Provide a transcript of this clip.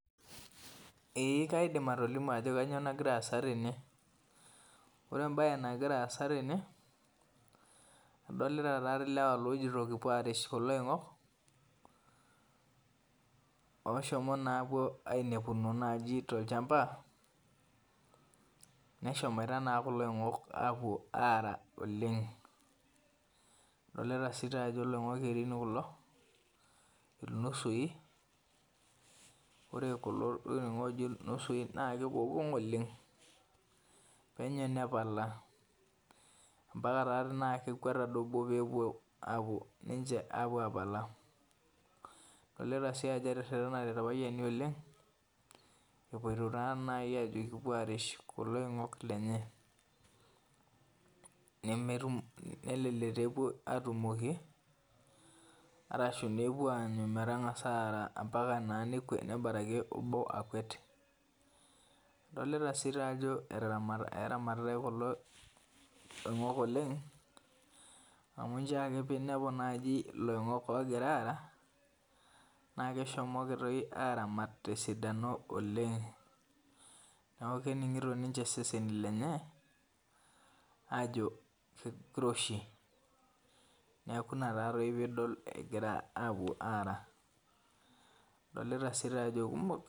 Ee kaidim atolimu ajo kanyioo nagira aasa tene. Ore ebae nagira aasa tene, adolita tatoi lewa lojito kipuo arish kulo oing'ok, oshomo napuo ainepuno naji tolchamba, neshomoita naa kulo oing'ok apuo aara oleng. Adolita si tajo iloing'ok kerin kulo, ilnusui, ore kulo oing'ok oji ilnusui na egogong' oleng. Penyo nepala. Ampaka tati naa kekuet ade obo pepuo apuo apala. Adolita si ajo eterrerrenate irpayiani oleng, epoito taa nai aji kipuo arish kulo oing'ok lenye. Nemetum nelelek tepuo atumoki, arashu nepuo anyu metang'asa aara ampaka naa nebaraki obo akuet. Adolita si tajo eramatitai kulo oing'ok oleng, amu njoo ake pinepu naji iloing'ok ogira aara, na keshomoki toi aramat tesidano oleng. Neeku kening'ito ninche iseseni lenye, aajo kiroshi. Neeku ina tatoi pidol egira apuo ara. Adolita si tajo kumok.